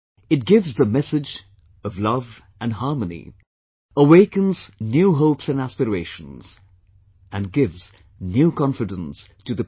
It gives the message of love and harmony awakens new hopes and aspirations, and gives new confidence to the people